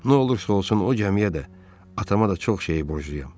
Nə olursa olsun o gəmiyə də, atama da çox şeyi borcluyam.